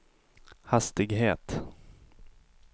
hastighet